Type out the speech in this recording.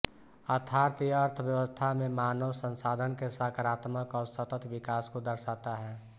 अर्थात यह अर्थव्यवस्था में मानव संसाधन के सकारात्मक और सतत विकास को दर्शाता है